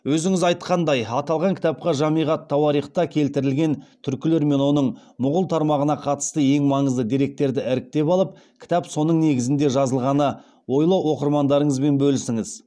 өзіңіз айтқандай аталған кітапқа жамиғ ат тауарихта келтірілген түркілер мен оның мұғул тармағына қатысты ең маңызды деректерді іріктеп алып кітап соның негізінде жазылғаны ойлы оқырмандарыңызбен бөлісіңіз